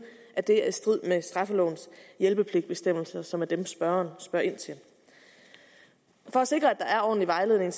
at det er i strid med straffelovens hjælpepligtbestemmelser som er dem spørgeren spørger ind til for at sikre at der er ordentlig vejledning